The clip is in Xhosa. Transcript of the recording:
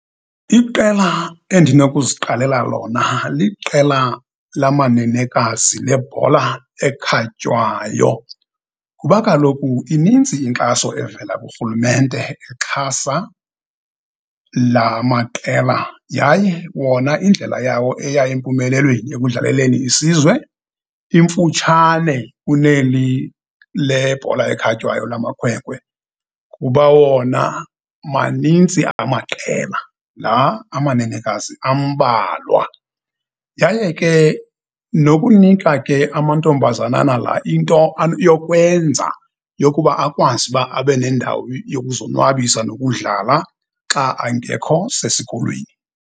Iqela endinokuziqalela lona liqela lamanenekazi lebhola ekhatywayo. Kuba kaloku ininzi inkxaso evela kurhulumente exhasa lamaqela yaye wona indlela yawo eya empumelelweni ekudlaleleni isizwe imfutshane kuneli lebhola ekhatywayo lamakhwenkwe, kuba wona manintsi amaqela, la amanenekazi ambalwa. Yaye ke nokunika ke amantombazanana la into yokwenza yokuba akwazi uba abe nendawo yokuzonwabisa nokudlala xa angekho sesikolweni.